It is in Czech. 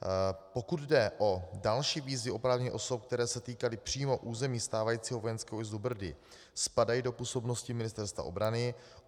Pokud jde o další výzvy oprávněných osob, které se týkaly přímo území stávajícího vojenského újezdu Brdy, spadají do působnosti Ministerstva obrany.